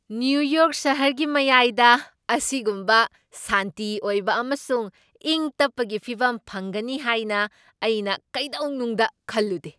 New York ꯁꯍꯔꯒꯤ ꯃꯌꯥꯏꯗ ꯑꯁꯤꯒꯨꯝꯕ ꯁꯥꯟꯇꯤ ꯑꯣꯏꯕ ꯑꯃꯁꯨꯡ ꯏꯪ ꯇꯞꯄꯒꯤ ꯐꯤꯕꯝ ꯐꯪꯒꯅꯤ ꯍꯥꯏꯅ ꯑꯩꯅ ꯀꯩꯗꯧꯅꯨꯡꯗ ꯈꯜꯂꯨꯗꯦ!